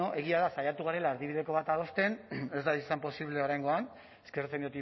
bueno egia da saiatu garela erdibideko bat adosten ez da posiblea oraingoan eskertzen